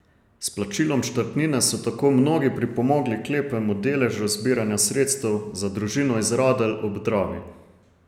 S plačilom štartnine so tako mnogi pripomogli k lepemu deležu zbiranja sredstev za družino iz Radelj ob Dravi.